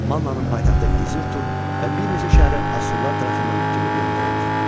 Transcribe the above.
Mannanın paytaxtı Izirtu və bir neçə şəhəri Assurlar tərəfindən tutulub yandırıldı.